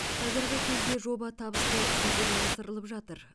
қазіргі кезде жоба табысты жүзеге асырылып жатыр